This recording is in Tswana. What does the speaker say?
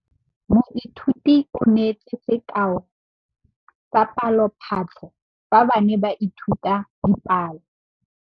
Moithuti o neetse sekaô sa palophatlo fa ba ne ba ithuta dipalo.